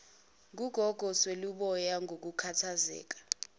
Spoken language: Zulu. ngugogo sweluboya ngokukhathazeka